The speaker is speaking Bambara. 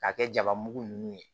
K'a kɛ jaba mugu ninnu ye